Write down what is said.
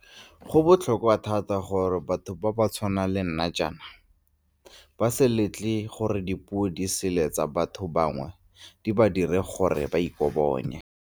"Go botlhokwa thata gore batho ba ba tshwanang le nna jaana ba se letle gore dipuodisele tsa ba tho bangwe di ba dire gore ba ikobonye."